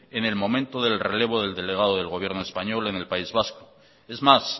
en el momento del relevo del delegado del gobierno español en el país vasco es más